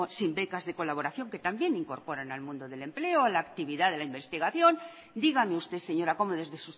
sin becas de colaboración que también incorporan al mundo del empleo a la actividad de la investigación dígame usted señora cómo desde